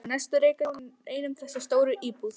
Á næstu reika hjónin ein um þessa stóru íbúð.